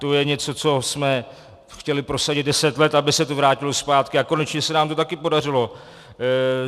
To je něco, co jsme chtěli prosadit deset let, aby se to vrátilo zpátky, a konečně se nám to taky podařilo.